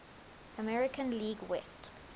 american league west